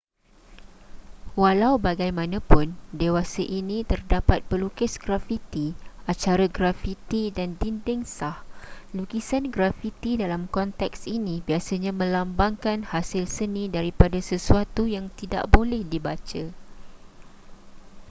walau bagaimanapun dewasa ini terdapat pelukis grafiti acara grafiti dan dinding' sah lukisan grafiti dalam konteks ini biasanya melambangkan hasil seni daripada sesuatu yang tidak boleh dibaca